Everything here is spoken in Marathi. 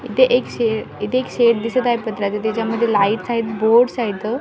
इथे एक शेड इथे एक शेड दिसत आहे पत्र्याचा त्याच्यामध्ये लाईट्स आहेत बोर्ड्स आहेत इथं.